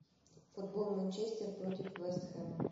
футбол манчестер против вест хэма